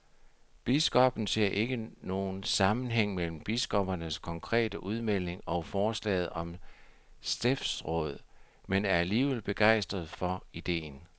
Biskoppen ser ikke nogen sammenhæng mellem biskoppernes konkrete udmelding og forslaget om stiftsråd, men er alligevel begejstret for ideen.